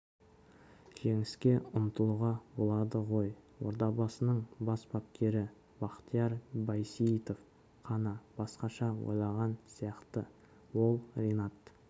жеңіске ұмтылуға болады ғой ордабасының бас бапкері бақтияр байсейітов қана басқаша ойлаған сияқты ол ринат